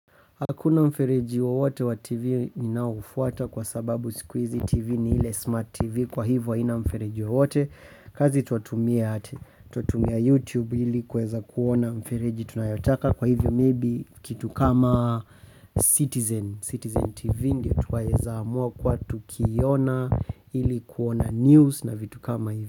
Hakuna mfereji wowote wa TV ninaoufuata kwa sababu siku hizi TV ni ile smart TV kwa hivyo haina mfereji wowote. Kazi twatumia YouTube ili kueza kuona mfereji tunayotaka kwa hivyo maybe kitu kama Citizen Citizen TV ndio twaweza amua kua tukiona ili kuona news na vitu kama hivyo.